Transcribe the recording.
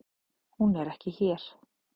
Hún er ekki hér.